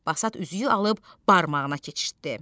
Basat üzüyü alıb barmağına keçirtdi.